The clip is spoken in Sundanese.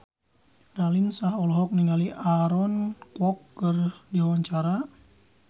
Raline Shah olohok ningali Aaron Kwok keur diwawancara